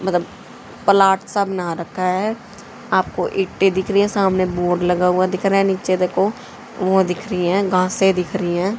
मतलब प्लॉट सा बना रखा है आपको ईंटे दिख रही है सामने बोर्ड लगा हुआ दिख रहा है नीचे देखो वो दिख रही है घासें दिख रही हैं।